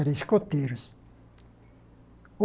Era escoteiros.